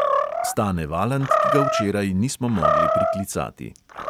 Stane valant, ki ga včeraj nismo mogli priklicati.